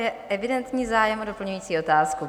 Je evidentní zájem o doplňující otázku.